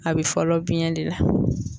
A be fɔlɔ biɲɛ de la.